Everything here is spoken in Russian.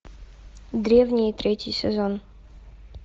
древние третий сезон